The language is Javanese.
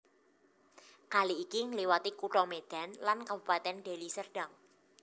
Kali iki ngliwati Kutha Medan lan Kabupaten Deli Serdang